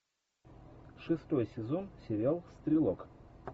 шестой сезон сериал стрелок